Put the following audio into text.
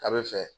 A bɛ fɛ